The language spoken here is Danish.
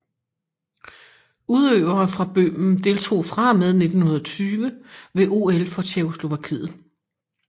Udøvere fra Bøhmen deltog fra og med 1920 ved OL for Tjekkoslovakiet